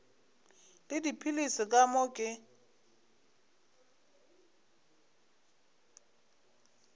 le dipilisi ka moo ke